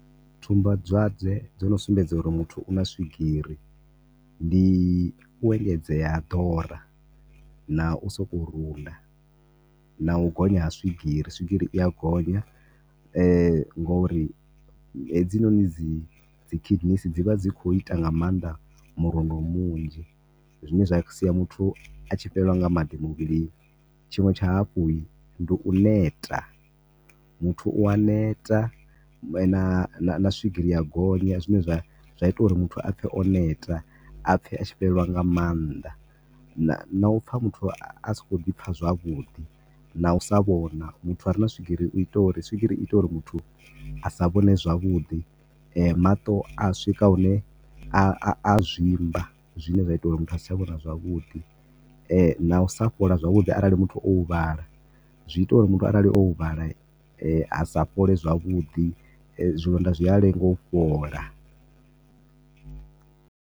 Tsumbadwadze dzo no sumbedza uri muthu u na swigiri, ndi u engedzea ha ḓora na u sokou ruda. Na u gonya ha swigiri, swigiri i ya gonya ngori hedzinoni dzi, dzi kidneys dzi vha dzi khou ita nga maanḓa murundo munzhi, zwine zwa sia muthu a tshi fhelelwa nga maḓi muvhilini. Tshiṅwe tsha hafhu, ndi u neta, muthu u a neta hune na swigiri ya gonya zwine zwa, zwa ita uri muthu a pfhe o neta. A pfhe a sthi fhelela nga maanḓa. Na u pfa muthu a si khou ḓi pfha zwavhuḓi. Na u sa vhona, muthu a re na swigiri i ita uri, swigiri i ita uri muthu a s vhone zwavhuḓi. Maṱo a swika hune a zwimba zwine zwa ita uri muthu a si tsha vhona zwavhuḓi. Na u sa fhola zwavhuḓi arali muthu o huvhala, zwi ita uri muthu arali o huvhala a sa fhole zwavhuḓi. Zwilonda zwi a lenga u fhola.